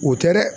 O tɛ dɛ